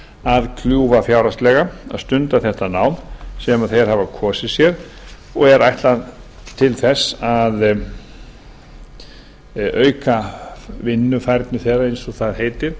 að kljúfa fjárhagslega að stunda þetta nám sem þeir hafa kosið sér og er ætlað til þess að auka vinnufærni eins og það heitir